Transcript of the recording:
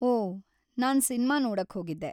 ಓ, ನಾನ್‌ ಸಿನ್ಮಾ ನೋಡಕ್ಹೋಗಿದ್ದೆ.